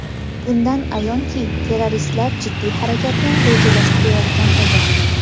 Bundan ayonki, terroristlar jiddiy harakatni rejalashtirayotgan edi.